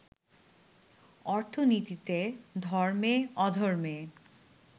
অর্থনীতিতে, ধর্মে, অধর্মে